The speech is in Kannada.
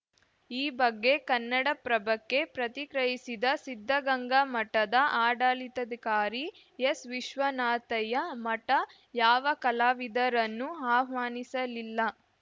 ಈ ಬಗ್ಗೆ ಕನ್ನಡಪ್ರಭಕ್ಕೆ ಪ್ರತಿಕ್ರಿಯಿಸಿದ ಸಿದ್ಧಗಂಗಾಮಠದ ಆಡಳಿತಾಧಿಕಾರಿ ಎಸ್‌ವಿಶ್ವನಾಥಯ್ಯ ಮಠ ಯಾವ ಕಲಾವಿದರನ್ನೂ ಆಹ್ವಾನಿಸಲಿಲ್ಲ